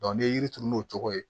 n'i ye yiri turu n'o cogo ye